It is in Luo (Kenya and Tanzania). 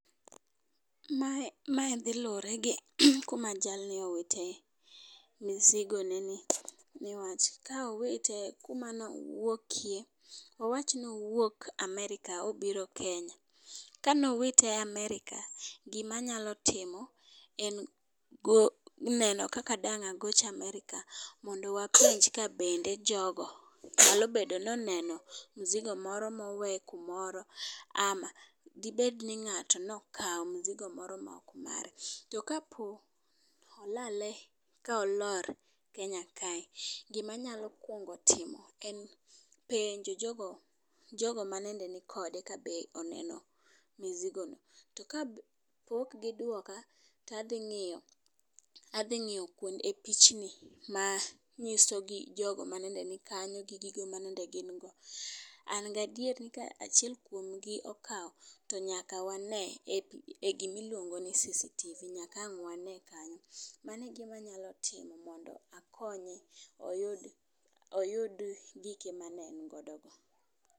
Mae mae dhi lure gi kuma jalni owite mizigo ne ni newach, ka owite kuma ne owuokie awach ni owuok Amerka obiro kenya .Kano wite amerka gimanyalo timo en go neno kaka dang' agoch Amerka mondo wapenj ka bende jogo nyalo bedo noneno mizigo moro mowe kumoro ama gibed ni ng'ato nokawo mizigo moro ma ok mare. To kapo olale ka olor kenya kae, gimanya kuongo timo en penjo jogo jogo manende nikode ka be oneno mizigo ni . To ka pok giduoka tadhi ng'iyo adhi ng'iyo e pichni ma nyiso gi jogo manende nikanyo gi gigo manende gin go . An gadier ni ka achiel kuom gi okawe to nyaka wane e gimiluongo ni CCTV nyaka wan wane kanyo. Mano e gima nyalo timo mondo akonye oyud oyud gike mane en godo go.